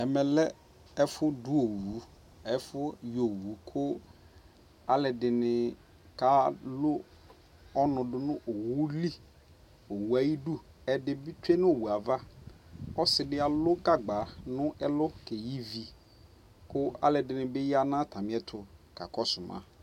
Ɛmɛ lɛ ɔfu du ɔwu Ɛfu yɔ owu ku aluɛ dinika lu ɔnu du nu owu yɛ liOwu li, owu ayi du ɛdi bi tsue nu owu yɛ avaƆsi di alu gagba nɛ lu kɛ yi vi